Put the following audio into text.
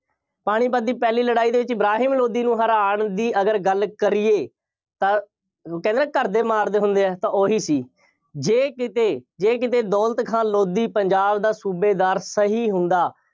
ਪਾਣੀਪਤ ਦੀ ਪਹਿਲੀ ਲੜਾਈ ਦੇ ਵਿੱਚ ਇਬਰਾਹਿਮ ਲੋਧੀ ਨੂੰ ਹਰਾਉਣ ਦੀ ਅਗਰ ਗੱਲ ਕਰੀਏ ਤਾਂ ਕਹਿੰਦੇ ਨਾ ਘਰ ਦੇ ਮਾਰਦੇ ਹੁੰਦੇ ਆ ਤਾਂ ਉਹੀ ਸੀ। ਜੇ ਕਿਤੇ, ਜੇ ਕਿਤੇ ਦੌਲਤ ਖਾਂ ਲੋਧੀ ਪੰਜਾਬ ਦਾ ਸੂਬੇਦਾਰ ਸਹੀ ਹੁੰਦਾ।